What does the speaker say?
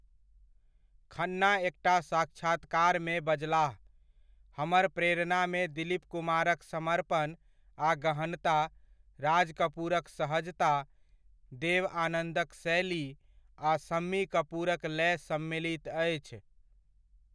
खन्ना एकटा साक्षात्कार मे बजलाह, हमर प्रेरणामे दिलीप कुमारक समर्पण आ गहनता, राज कपूरक सहजता, देव आनंदक शैली आ शम्मी कपूरक लय सम्मिलित अछि।